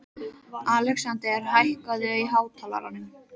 Alexandra, hækkaðu í hátalaranum.